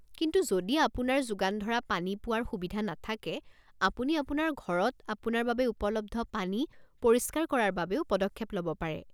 কিন্তু যদি আপোনাৰ যোগান ধৰা পানী পোৱাৰ সুবিধা নাথাকে, আপুনি আপোনাৰ ঘৰত আপোনাৰ বাবে উপলব্ধ পানী পৰিষ্কাৰ কৰাৰ বাবেও পদক্ষেপ ল'ব পাৰে।